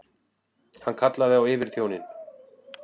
Hann kallaði á yfirþjóninn.